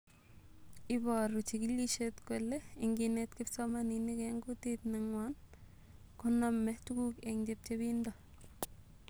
Iporu chigilishet kole inginet kipsomaninik en kutit nenywan konome tuguk en chepchepindo